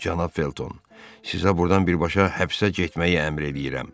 Cənab Felton, sizə burdan birbaşa həbsə getməyi əmr eləyirəm.